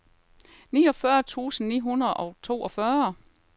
niogfyrre tusind ni hundrede og toogfyrre